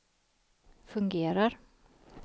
fungerar